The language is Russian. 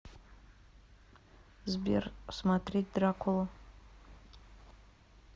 сбер смотреть дракулу